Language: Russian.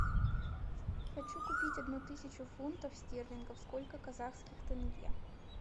хочу купить одну тысячу фунтов стерлингов сколько казахских тенге